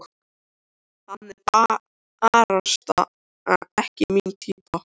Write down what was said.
Hann er barasta ekki mín týpa.